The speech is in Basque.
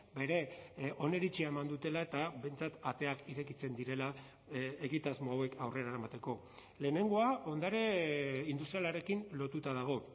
bere oniritzia eman dutela eta behintzat ateak irekitzen direla egitasmo hauek aurrera eramateko lehenengoa ondare industrialarekin lotuta dago